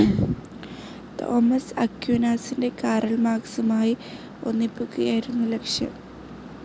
Thomas അക്വീനാസിനെ Karl മാർക്സുമായി ഒന്നിപ്പിക്കുകയായിരുന്നു ലക്‌ഷ്യം.